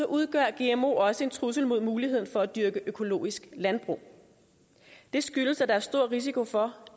udgør gmo også en trussel mod muligheden for at dyrke økologisk landbrug det skyldes at der er stor risiko for